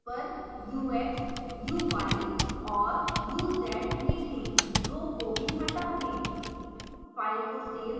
इसके स्थान पर ux uy and uz लिखें rho को भी हटा दें